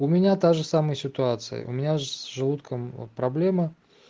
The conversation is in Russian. у меня та же самая ситуация у меня с желудком вот проблема